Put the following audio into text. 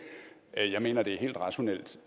jeg mener det er helt rationelt